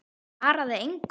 Það svaraði enginn.